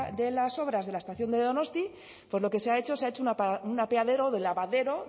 de las obras de la estación de donosti entonces lo que se ha hecho se ha hecho un apeadero del lavadero